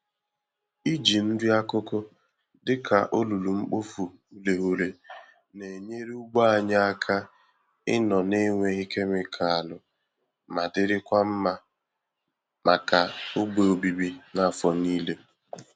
Iji nri-akụkụ dịka olulu-mkpofu-ureghure na-enyere ugbo anyị aka ịnọ na-enweghị kemịkalụ ma dirikwa mma màkà ogbè obibi n'afọ niile.